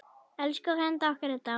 Elsku frændi okkar er dáinn.